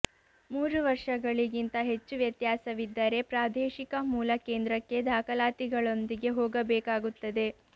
ಮೂರು ವರ್ಷಗಳಿಗಿಂತ ಹೆಚ್ಚು ವ್ಯತ್ಯಾಸವಿದ್ದರೆ ಪ್ರಾದೇಶಿಕ ಮೂಲ ಕೇಂದ್ರಕ್ಕೆ ದಾಖಲಾತಿಗಳೊಂದಿಗೆ ಹೋಗಬೇಕಾಗುತ್ತದೆ